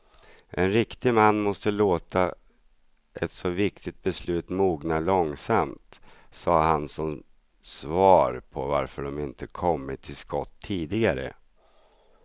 En riktig man måste låta ett så viktigt beslut mogna långsamt, sade han som svar på varför de inte kommit till skott tidigare.